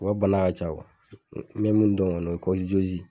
U ka bana ka ca . N bɛ mun dɔn kɔni o ye ye.